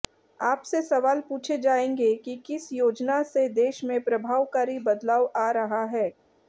आपसे सवाल पूछे जायेंगे कि किस योजना से देश में प्रभावकारी बदलाव आ रहा है